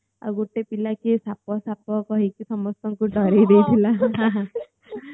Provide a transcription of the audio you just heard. ଆଉ ଗୋଟେ ପିଲା କିଏ ସାପ ସାପ କହିକି ସମସ୍ତଙ୍କୁ ଡରେଇ ଦେଇଥିଲା